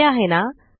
सोपे आहे ना